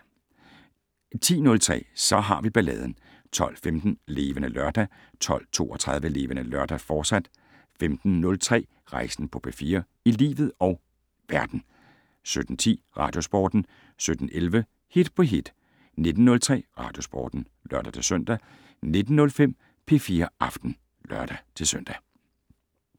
10:03: Så har vi balladen 12:15: Levende Lørdag 12:32: Levende Lørdag, fortsat 15:03: Rejsen på P4 - i livet og verden 17:10: Radiosporten 17:11: Hit på hit 19:03: Radiosporten (lør-søn) 19:05: P4 Aften (lør-søn)